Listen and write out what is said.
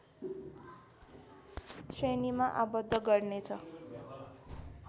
श्रेणीमा आबद्ध गर्नेछ